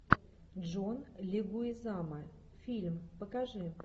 джон легуизамо фильм покажи